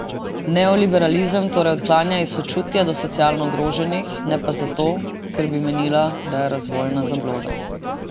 Neoliberalizem torej odklanja iz sočutja do socialno ogroženih, ne pa zato, ker bi menila, da je razvojna zabloda.